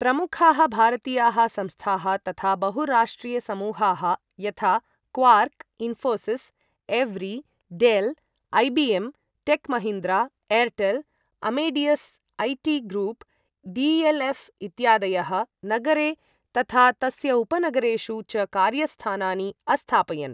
प्रमुखाः भारतीयाः संस्थाः तथा बहुराष्ट्रियसमूहाः यथा क्वार्क्, इन्फोसिस्, एव्री, Dell, IBM, Tech Mahindra, Airtel, Amadeus IT group, डी.एल्.एऴ् इत्यादयः नगरे तथा तस्य उपनगरेषु च कार्यस्थानानि अस्थापयन्।